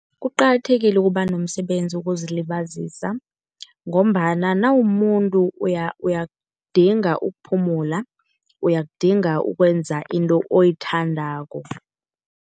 Kuqakathekile ukuba nomsebenzi wokuzilibazisa ngombana nawumumuntu uyakudinga ukuphumula. Uyakudinga ukwenza into oyithandako.